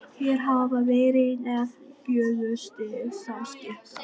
Hér hafa verið nefnd fjögur stig samskipta.